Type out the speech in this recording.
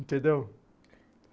Entendeu?